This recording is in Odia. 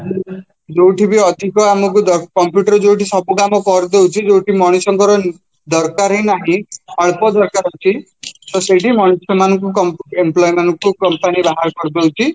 ଯୋଉଠିକି ଅଧିକ ଆମକୁ computer ଯୋଉଠି ସବୁ କାମ କରିଦେଉଛି ଯୋଉଠି ମଣିଷଙ୍କର ଦରକାରହିଁ ନାହିଁ ଅଳ୍ପ ଦରକାର ଅଛି ତ ସେଇଠି ମଣିଷ ମାନଙ୍କୁ employ ମାନଙ୍କୁ company ବାହାର କରିଦେଉଛି